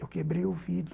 Eu quebrei o vidro...